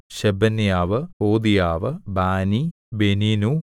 Shebaniah ഹോദീയാവ് ബാനി ബെനീനു